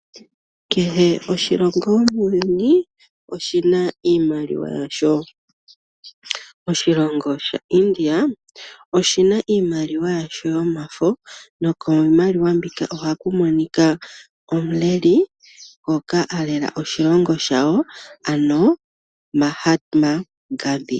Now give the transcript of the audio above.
Kehe oshilongo muuyuni oshi na iimaliwa yasho. Oshilongo shaIndia oshi na iimaliwa yasho yomafo, nokiimaliwa mbika ohaku monika omuleli ngoka a lela oshilongo shawoo, ano Mahatma Gandhi.